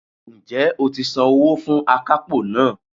Ǹ jẹ́ o ti san owó fún akápò náà